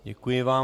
Děkuji vám.